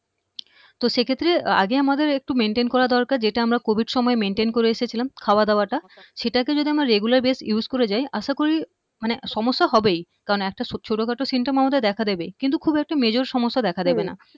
তো সেক্ষেত্রে আগে আমাদের একটু maintain করা দরকার যেটা আমরা covid সময়ে maintain করে এসেছিলাম খাওয়া দাওয়াটা সেটাকে যদি আমরা regular base use করে যাই আশা করি মানে সমস্যা হবেই কারণ একটা ছো্ট খাটো symptom আমাদের দেখা দেবেই কিন্তু খুব একটা major সমস্যা দেখা দেবে না হম